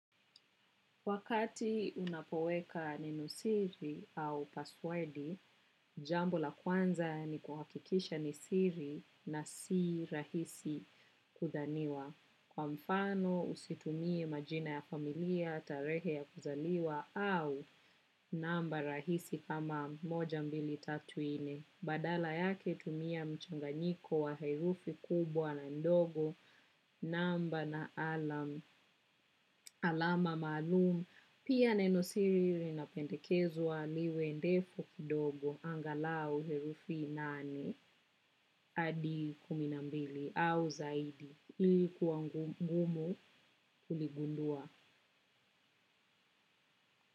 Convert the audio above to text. Wakati unapoweka nenosiri au passwordi, jambo la kwanza ni kuhakikisha ni siri na si rahisi kudhaniwa. Kwa mfano, usitumie majina ya familia, tarehe ya kuzaliwa au namba rahisi kama moja mbili tatu nne. Badala yake tumia mchanganyiko wa herufi kubwa na ndogo, namba na alama alama malumu, pia nenosiri linapendekezwa liwe ndefu kidogo, angalau herufi nane, adi kumi na mbili, au zaidi, ili kuwa ngumu kuligundua.